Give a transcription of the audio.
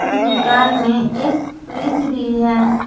दुकान में एक फ्रिज भी है।